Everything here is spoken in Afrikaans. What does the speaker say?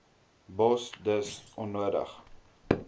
bos dis onnodig